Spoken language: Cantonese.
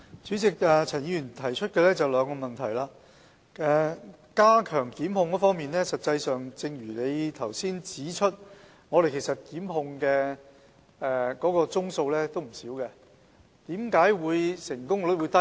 主席，陳議員提出了兩項補充質詢，在加強檢控方面，正如他剛才指出，我們檢控的宗數不少，為何成功率會低？